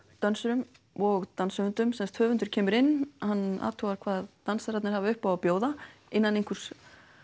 dönsurum og danshöfundum sem sagt höfundur kemur inn hann athugar hvað dansararnir hafa upp á að bjóða innan einhvers